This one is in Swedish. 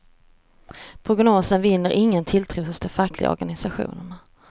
Prognosen vinner ingen tilltro hos de fackliga organisationerna.